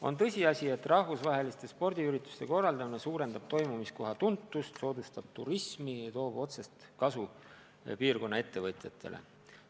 On tõsiasi, et rahvusvaheliste spordiürituste korraldamine suurendab toimumiskoha tuntust, soodustab turismi ja toob otsest kasu piirkonna ettevõtjatele.